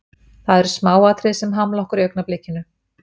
Það eru smáatriði að hamla okkur í augnablikinu.